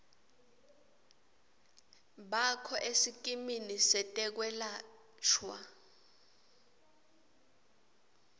bakho esikimini setekwelashwa